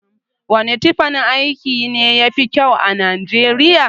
Wane tufan aiki ne yafi kyau a nijeriya?